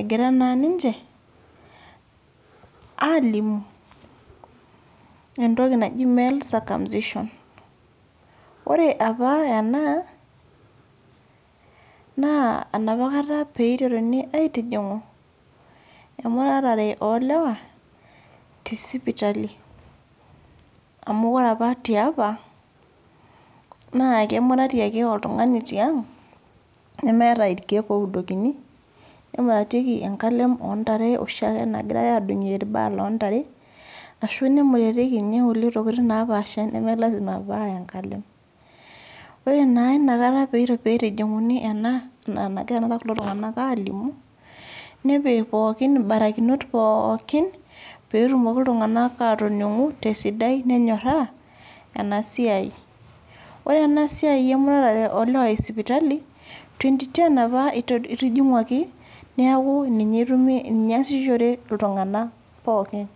egira naa niche alimu entoki najii male circumcision ore apa ena naa enapakata peiteruni aitijingu emuratare oo lewa tee sipitali amu ore tiapa naa kemurati ake oltung'ani tiang nemeeta irkeek oudukoni nemuratikie enkalem oo ntare nagirai oshiake adungie irbaa loo ntare arashu ninye nemuratikie enkulie tokitin naapasha neme lasima paa enkalem ore naa enakata pee eitijinguni ena nagira kulo tung'ana alimu nepiki mbarakinot pookin petumoki iltung'ana atoningu tee sidai nenyoraa ena siai ore enasiai emuratare oo lewa ee sipitali 2010 apa eitijinguaki neeku ninye esishore iltung'ana pookin